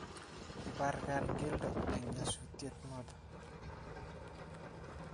kibarkan keldo eng' nyasutie noto